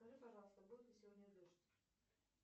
скажи пожалуйста будет ли сегодня дождь